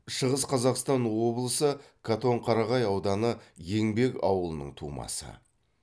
шығыс қазақстан облысы катонқарағай ауданы еңбек ауылының тумасы